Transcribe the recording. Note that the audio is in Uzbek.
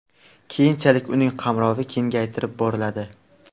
Keyinchalik uning qamrovi kengaytirib boriladi.